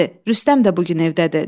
Rüstəm də bu gün evdədir.